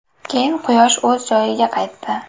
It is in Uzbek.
Keyin quyosh o‘z joyiga qaytdi.